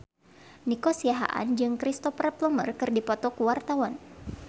Nico Siahaan jeung Cristhoper Plumer keur dipoto ku wartawan